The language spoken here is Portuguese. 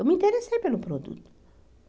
Eu me interessei pelo produto.